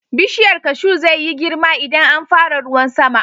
Bishiyar kashu zai yi girma idan an fara ruwan sama.